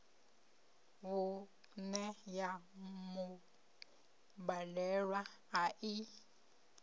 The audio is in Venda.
vhuṋe ya mubadelwa a i